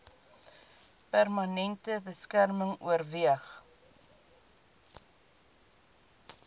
permanente beskerming oorweeg